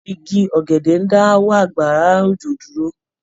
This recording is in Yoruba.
Igi ọ̀gẹ̀dẹ̀ ń dáwọ́ àgbàrá òjò dúró.